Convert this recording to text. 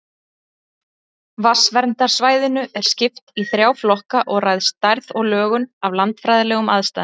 Vatnsverndarsvæðinu er skipt í þrjá flokka og ræðst stærð og lögun af landfræðilegum aðstæðum.